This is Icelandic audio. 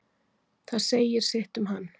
Það segir sitt um hann.